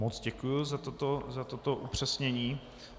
Moc děkuji za toto upřesnění.